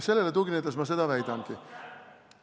Sellele tuginedes ma seda väidangi!